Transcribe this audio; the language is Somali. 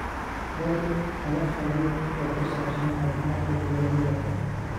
Hel talo khabiir oo ku saabsan caafimaadka digaaggaaga.